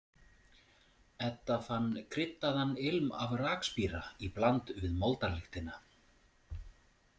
Edda fann kryddaðan ilm af rakspíra í bland við moldarlyktina.